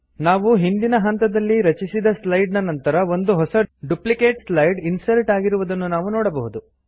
ನಾವು ನಾವು ಹಿಂದಿನ ಹಂತದಲ್ಲಿ ರಚಿಸಿದ ಸ್ಲೈಡ್ ನ ನಂತರ ಒಂದು ಹೊಸ ಡುಪ್ಲಿಕೇಟ್ ಸ್ಲೈಡ್ ಇನ್ಸರ್ಟ್ ಆಗಿರುವುದನ್ನು ನಾವು ನೋಡಬಹುದು